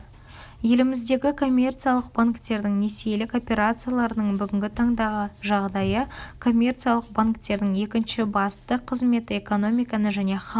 еліміздегі коммерциялық банктердің несиелік операцияларының бүгінгі таңдағы жағдайы коммерциялық банктердің екінші басты қызметі экономиканы және халықты